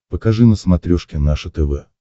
покажи на смотрешке наше тв